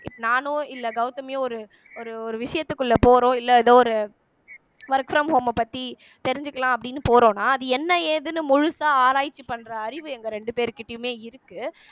நானோ இல்ல கௌதமியோ ஒரு ஒரு ஒரு விஷயத்துக்குள்ள போறோம் இல்ல ஏதோ ஒரு work from home அ பத்தி தெரிஞ்சுக்கலாம் அப்படின்னு போறோம்னா அது என்ன ஏதுன்னு முழுசா ஆராய்ச்சி பண்ற அறிவு எங்க ரெண்டு பேருகிட்டயுமே இருக்கு